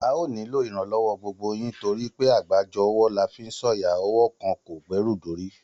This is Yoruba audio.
A óò nílò iranlowo gbogbo yín torí pé àgbájọ ọwọ́ la fi ń sọ̀yà, ọwọ́ kan ò gbẹ́rù dórí